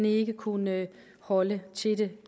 ikke kunne holde til det